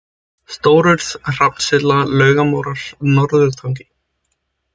Stórurð, Hrafnssylla, Laugumóar, Norðurtangi